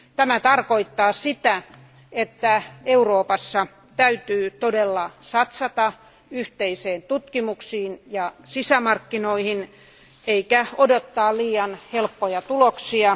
Tämä tarkoittaa sitä, että Euroopassa täytyy todella satsata yhteiseen tutkimukseen ja sisämarkkinoihin eikä odottaa liian helppoja tuloksia.